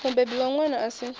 mubebi wa ṅwana a si